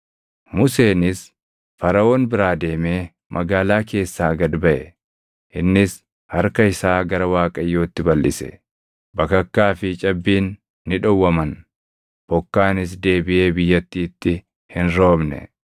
Museenis Faraʼoon biraa deemee magaalaa keessaa gad baʼe; innis harka isaa gara Waaqayyootti balʼise; bakakkaa fi cabbiin ni dhowwaman. Bokkaanis deebiʼee biyyattiitti hin roobne.